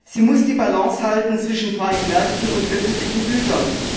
Sie muss die Balance halten zwischen freien Märkten und öffentlichen Gütern.